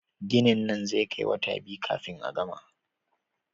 Ginin nan zai kai wata biyu kafin a gama